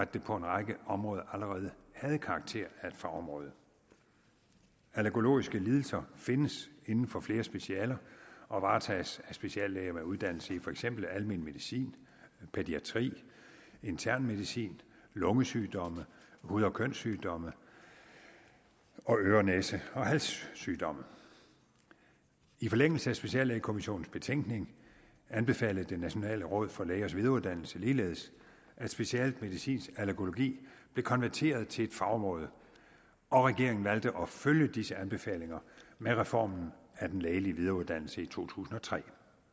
det på en række områder allerede havde karakter af et fagområde allergologiske lidelser findes inden for flere specialer og varetages af speciallæger med uddannelse i for eksempel almen medicin pædiatri intern medicin lungesygdomme hud og kønssygdomme og øre næse og halssygdomme i forlængelse af speciallægekommissionens betænkning anbefalede det nationale råd for lægers videreuddannelse ligeledes at specialet medicinsk allergologi blev konverteret til et fagområde og regeringen valgte at følge disse anbefalinger med reformen af den lægelige videreuddannelse i to tusind og tre